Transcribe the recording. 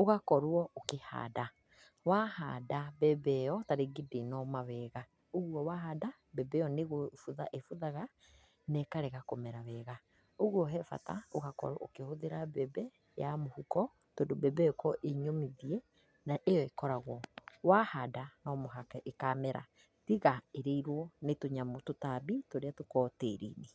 ũgakorwo ũkĩhanda. Wahanda mbembe ĩo, ta rĩngĩ ndĩnoma wega, ũguo wahanda mbembe ĩo nĩ gũbutha ĩ buthaga na ĩkarega kũmera wega, ũguo he bata ũgakorwo ũkĩhũthĩra mbembe ya mũhuko, tondũ mbembe ĩo ĩkoragwo ĩ nyũmithie na ĩkoragwo wahanda no mũhaka ĩkamera tiga ĩrĩirwo nĩ tũnyamũ tũtambi tũrĩa tũkoragwo tĩrinĩ.